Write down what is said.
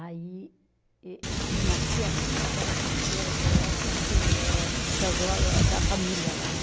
Aí êh êh tinha uma tia minha que era cozinheira, que é essas que é que casou a, da família lá, né?